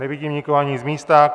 Nevidím nikoho ani z místa.